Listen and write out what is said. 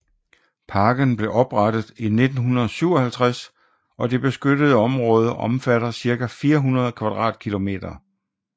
Parken blev oprettet i 1957 og det beskyttede område omfatter cirka 400 kvadratkilometer